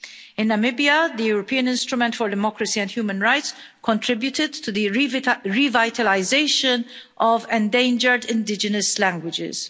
In Namibia, the European Instrument for Democracy and Human Rights contributed to the revitalisation of endangered indigenous languages.